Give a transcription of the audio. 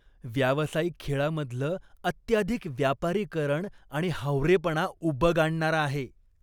व्यावसायिक खेळांमधलं अत्याधिक व्यापारीकरण आणि हावरेपणा उबग आणणारा आहे.